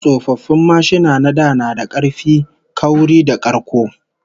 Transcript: Old motorcycles were built much sturdier and more durable than present